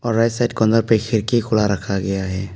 और right side corner पर एक खिड़की खुला रखा गया है।